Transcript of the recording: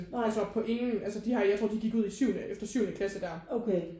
Altså på ingen altså de har jeg tror de gik ud i syvende efter syvende klasse der